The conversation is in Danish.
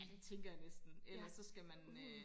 ja det tænker jeg næsten ellers så skal man øh